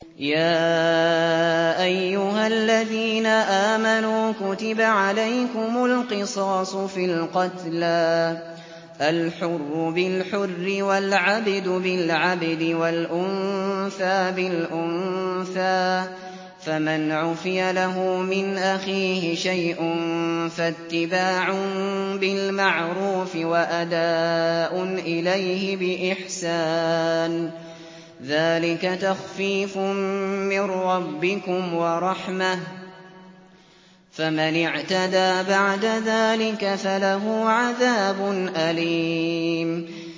يَا أَيُّهَا الَّذِينَ آمَنُوا كُتِبَ عَلَيْكُمُ الْقِصَاصُ فِي الْقَتْلَى ۖ الْحُرُّ بِالْحُرِّ وَالْعَبْدُ بِالْعَبْدِ وَالْأُنثَىٰ بِالْأُنثَىٰ ۚ فَمَنْ عُفِيَ لَهُ مِنْ أَخِيهِ شَيْءٌ فَاتِّبَاعٌ بِالْمَعْرُوفِ وَأَدَاءٌ إِلَيْهِ بِإِحْسَانٍ ۗ ذَٰلِكَ تَخْفِيفٌ مِّن رَّبِّكُمْ وَرَحْمَةٌ ۗ فَمَنِ اعْتَدَىٰ بَعْدَ ذَٰلِكَ فَلَهُ عَذَابٌ أَلِيمٌ